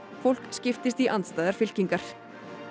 fólk skiptist í andstæðar fylkingar